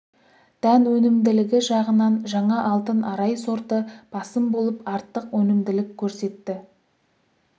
дән өнімділігі жағынан жаңа алтын арай сорты басым болып артық өнімділік көрсетті